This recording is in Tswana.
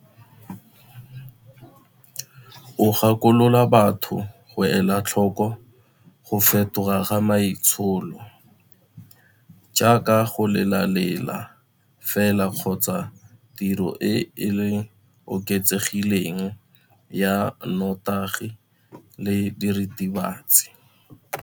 O gakolola batho go ela tlhoko go fetoga ga maitsholo, jaaka go lela lela fela kgotsa tiriso e e oketsegileng ya nnotagi le diritibatsi.